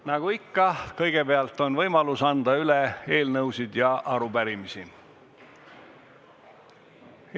Nagu ikka, kõigepealt on võimalus anda üle eelnõusid ja arupärimisi.